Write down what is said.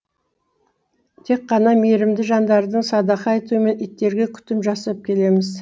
тек қана мейірімді жандардың садақа етуімен иттерге күтім жасап келеміз